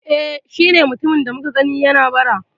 E, shi ne mutumin da muka gani yana bara